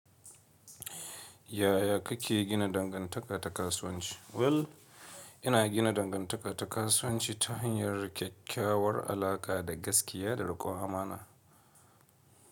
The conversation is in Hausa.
Yaya kake gina dangantaka ta kasuwanci? Well, ina gina dangantaka ta kasuwanci ta hanyar kyakkyawar alaƙa da gaskiya da riƙon amana.